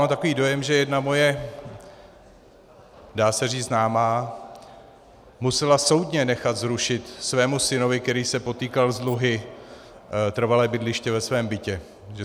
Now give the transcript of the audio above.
Mám takový dojem, že jedna moje, dá se říct známá musela soudně nechat zrušit svému synovi, který se potýkal s dluhy, trvalé bydliště ve svém bytě.